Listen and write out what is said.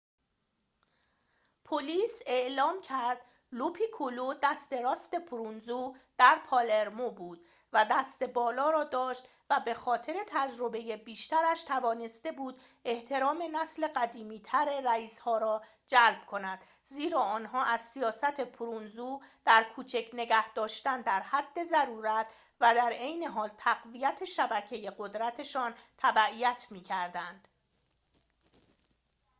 پلیس اعلام کرد لوپیکولو دست راست پروونزو در پالرمو بود و دست بالا را داشت و به خاطر تجربه بیشترش توانسته بود احترام نسل قدیمی‌تر رئیس‌ها را جلب کند زیرا آنها از سیاست پروونزو در کوچک نگه‌داشتن در حد ضرورت و در عین حال تقویت شبکه قدرت‌شان تبعیت می‌کردند